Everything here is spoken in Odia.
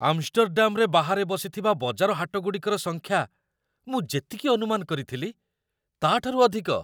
ଆମଷ୍ଟରଡାମ୍‌ରେ ବାହାରେ ବସିଥିବା ବଜାର ହାଟଗୁଡ଼ିକର ସଂଖ୍ୟା ମୁଁ ଯେତିକି ଅନୁମାନ କରିଥିଲି, ତା'ଠାରୁ ଅଧିକ।